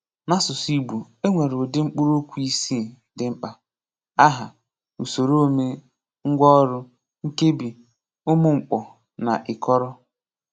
N’asụsụ Ìgbò, e nwere ụdị mkpụrụokwu isii dị mkpa: Áhá, Ùsòròomè, Ngwàọrụ, Nkèbí, Ùmụ́mkpọ́, na Ị́kọrọ.